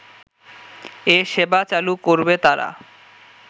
এ সেবা চালু করবে তারা